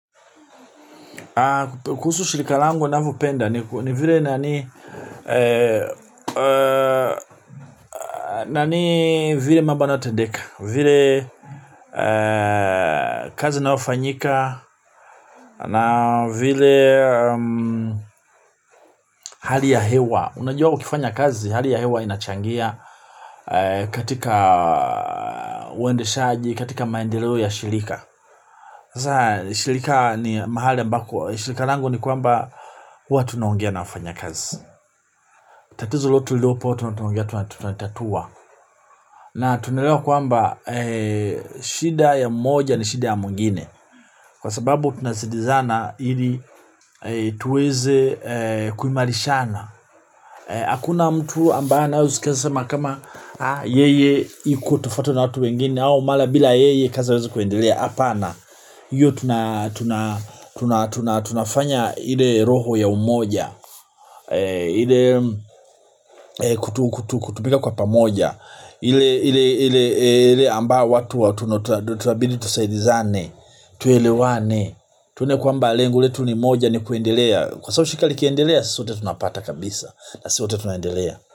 Kuhusu shirika langu navyopenda ni vile nani. Nani vile mambo yanayotendeka, vile kazi inayofanyika. Na vile hali ya hewa. Unajua ukifanya kazi hali ya hewa inachangia. Katika uendeshaji, katika maendeleo ya shirika shirika ni mahali ambako shirika langu ni kwamba huwa tunaongea na wafanyakazi. Tatizo letu na tunaongea tunatatua na tunaelewa kwamba shida ya mmoja ni shida ya mwingine kwa sababu tunasidizana ili tuweze kuimarishana. Hakuna mtu ambaye anaeza sema kama yeye iko tofauti na watu wengine au mara bila yeye kazi haiwezi kuendelea hapana hiyo tunafanya ile roho ya umoja ile kutumika kwa pamoja ile ambao watu watu itabidi tusaidizane. Tuelewane tuone kwamba lengu letu ni moja ni kuendelea. Kwa sababu shirika likiendelea sote tunapata kabisa na si wote tunaendelea.